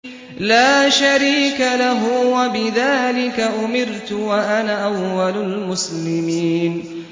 لَا شَرِيكَ لَهُ ۖ وَبِذَٰلِكَ أُمِرْتُ وَأَنَا أَوَّلُ الْمُسْلِمِينَ